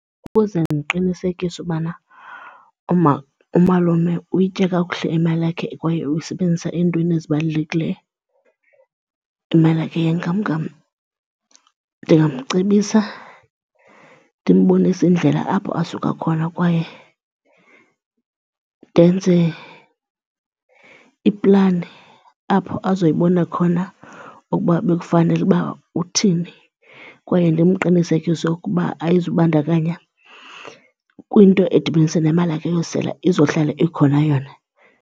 Ukuze ndiqinisekise ubana umalume uyitye kakuhle imali yakhe kwaye uyisebenzisa eentweni ezibalulekileyo, imali yakhe yenkamnkam, ndingamcebisa ndimbonise indlela apho asuka khona kwaye ndenze iplani apho azoyibona khona ukuba bekufanele uba uthini kwaye ndimqinisekise ukuba ayizubandakanya kwinto edibanise nemali yakhe yosela, izohlala ikhona yona.